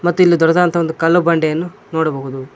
ಮತ್ತು ಇಲ್ಲಿ ದೊಡ್ಡದಾದಂತಹ ಒಂದು ಕಲ್ಲು ಬಂಡೆಯನ್ನು ನೋಡಬಹುದು.